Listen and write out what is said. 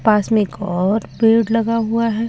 पास में एक और पैड लगा हुआ है बोर्ड में--